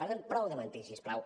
per tant prou de mentir si us plau